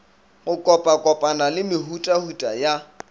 go kopakopana le mehutahuta ya